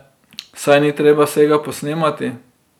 Saj ni treba vsega posnemati.